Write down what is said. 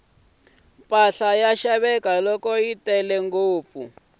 mpahla yi xaveka loko yi tele ngopfu